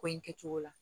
Ko in kɛ cogo la